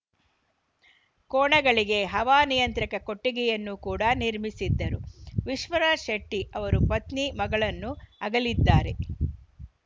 ಕೋಣಗಳಿಗೆ ಹವಾನಿಯಂತ್ರಕ ಕೊಟ್ಟಿಗೆಯನ್ನು ಕೂಡ ನಿರ್ಮಿಸಿದ್ದರು ವಿಶ್ವನಾಥ್‌ ಶೆಟ್ಟಿಅವರು ಪತ್ನಿ ಮಗಳನ್ನು ಅಗಲಿದ್ದಾರೆ